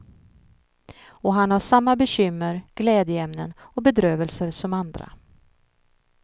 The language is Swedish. Och han har samma bekymmer, glädjeämnen och bedrövelser som andra.